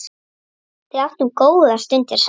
Við áttum góðar stundir saman.